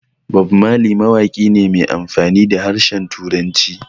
Bammali mawaƙi ne mai amfani da harshen Turanci